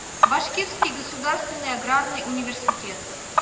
башкирский государственный аграрный университет